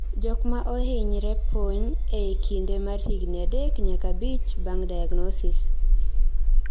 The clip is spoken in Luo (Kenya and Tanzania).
Jokmaa ohinyre pony ee kinde mar higni 3 nyaka 5 bang' diagnosis